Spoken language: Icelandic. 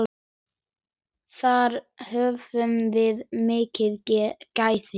Þar höfum við mikil gæði.